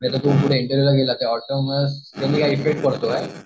इंटरव्हिव्हला गेला तर autonomous effect पडतो काय?